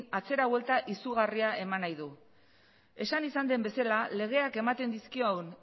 atzera buelta izugarria eman nahi du esan izan den bezala legeak ematen dizkion